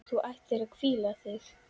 Þú ættir að hvíla þig.